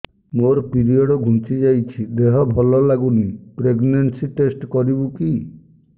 ମୋ ପିରିଅଡ଼ ଘୁଞ୍ଚି ଯାଇଛି ଦେହ ଭଲ ଲାଗୁନି ପ୍ରେଗ୍ନନ୍ସି ଟେଷ୍ଟ କରିବୁ କି